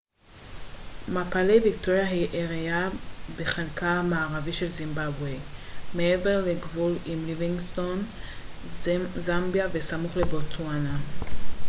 מפלי ויקטוריה היא עיירה בחלקה המערבי של זימבבואה מעבר לגבול עם ליווינגסטון זמביה וסמוך לבוטסואנה